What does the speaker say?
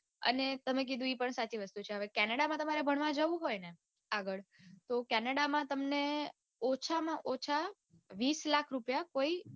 અને તમે કીધું એ પણ સાચી વાત છે canada માં તમારે ભણવા જાઉં હોય ને આગળ તો canada માં તમને ઓછામાં ઓછા વિસ લાખ રૂપિયા કોઈ